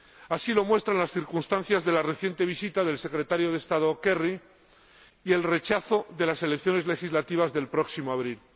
Así lo muestran las circunstancias de la reciente visita del Secretario de Estado Kerry y el rechazo de las elecciones legislativas del próximo abril.